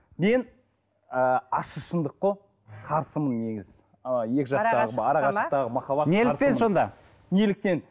мен ы ащы шындық қой қарсымын негізі ы екі жақтағы неліктен сонда неліктен